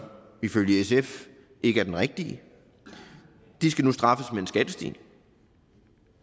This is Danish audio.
ifølge sf ikke er den rigtige og de skal nu straffes med en skattestigning